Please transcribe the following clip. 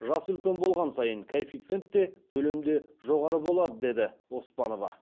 жасы үлкен болған сайын коэффициент те төлем де жоғары болады деді оспанова